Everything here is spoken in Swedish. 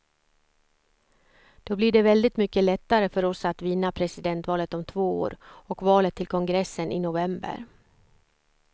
Då blir det väldigt mycket lättare för oss att vinna presidentvalet om två år och valet till kongressen i november.